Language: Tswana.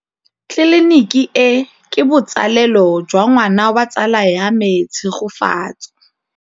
Tleliniki e, ke botsalêlô jwa ngwana wa tsala ya me Tshegofatso.